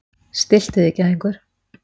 Stilltu þig gæðingur.